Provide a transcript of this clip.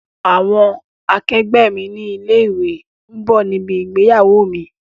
Àwọn àkẹgbẹ́ mi ní ilé ìwé ń bọ̀ níbi ìgbéyàwó mi.